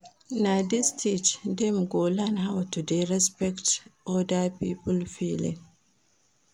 Na dis stage dem go learn how to dey respect oda pipo feeling.